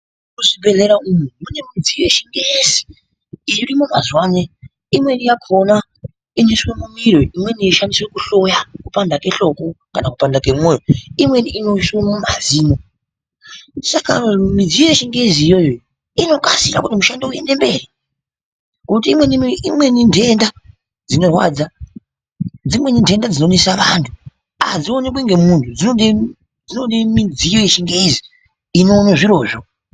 Muzvibhedhlera umwu mune midziyo yechingezi irimwo mazuvaano imweni yakhona inoiswa mumiro imweni yeishandiswa kuhloya kupanda kwehloko kana kupanda kwemwoyo imweni inoiswe mumazino saka midziyo yechingezi iyoyo inokasira kuti mishando iende mberi ngekuti imweni nhenda dzinorwadza dzimweni nhenda dzinonesa vantu adzionekwi ngemuntu dzinode midziyo yechingezi inoona zvirozvo.